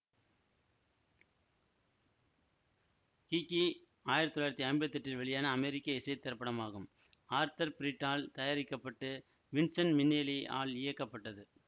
Kiki ஆயிரத்தி தொள்ளாயிரத்தி ஐம்பத்தி எட்டில் வெளியான அமெரிக்க இசை திரைப்படமாகும் ஆர்தர் பிரிட் ஆல் தயாரிக்க பட்டு வின்சென்ட் மினேல்லி ஆல் இயக்கப்பட்டது